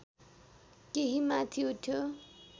केही माथि उठ्यो